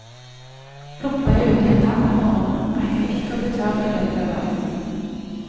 Plumper jeg uti en dam om morgenen, rekker jeg ikke å bli tørr i løpet av dagen.